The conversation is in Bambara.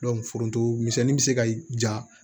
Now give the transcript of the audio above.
foronto misɛnni bɛ se ka ja